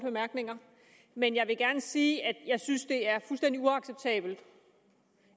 bemærkninger men jeg vil gerne sige at jeg synes det er fuldstændig uacceptabelt